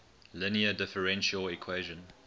linear differential equation